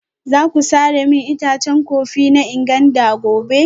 Za ku sare min itacen kofi na Nganda gobe?